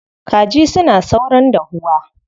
Kaji suna saurin dahuwa.